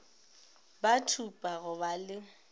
ba thupa go ba le